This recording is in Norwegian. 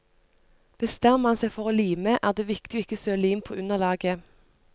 Bestemmer man seg for å lime, er det viktig ikke å søle lim på underlaget.